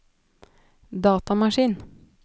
datamaskin